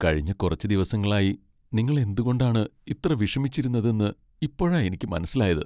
കഴിഞ്ഞ കുറച്ച് ദിവസങ്ങളായി നിങ്ങൾ എന്തുകൊണ്ടാണ് ഇത്ര വിഷമിച്ചതിരുന്നത് എന്ന് ഇപ്പോഴാ എനിക്ക് മനസ്സിലായത്.